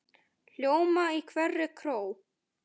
hljóma í hverri kró.